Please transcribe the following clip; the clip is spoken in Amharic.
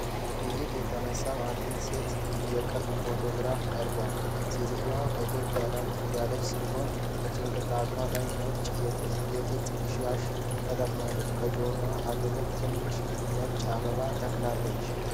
ጥይት የተነሳው የአንዲት ሴት የቅርብ ፎቶግራፍ ቀርቧል። ሴትየዋ ፈገግታ ያላት ሲሆን፣ በጭንቅላቷ ላይ ነጭ የጥጥ ሻሽ ተጠምጥማለች፤ ከጆሮዋ አጠገብ ትናንሽ ነጭ አበባዎች ተክለዋል።